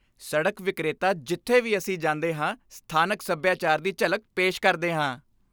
ਸੜਕ ਵਿਕਰੇਤਾ ਜਿੱਥੇ ਵੀ ਅਸੀਂ ਜਾਂਦੇ ਹਾਂ ਸਥਾਨਕ ਸੱਭਿਆਚਾਰ ਦੀ ਝਲਕ ਪੇਸ਼ ਕਰਦੇ ਹਾਂ।